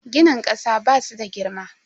Ginin kasa basu da girma.